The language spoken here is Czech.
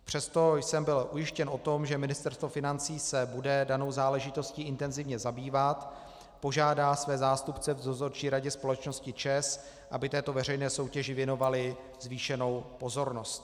Přesto jsem byl ujištěn o tom, že Ministerstvo financí se bude danou záležitostí intenzivně zabývat, požádá své zástupce v Dozorčí radě společnosti ČEZ, aby této veřejné soutěži věnovali zvýšenou pozornost.